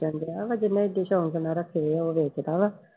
ਡਿਆ ਵਾ ਜਿਹਨੇ ਸ਼ੌਂਕ ਨਾਲ ਰੱਖੇ ਆ ਉਹ ਵੇਚਦਾ ਵਾ।